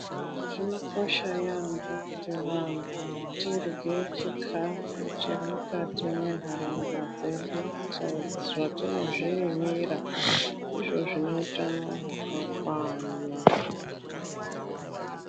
Zvinokosha yaambo kuti vantu tirye chikafu chemukati mwenharaunda dzedu zvatinozvirimira. Ndizvo zvineutano hwakakwana.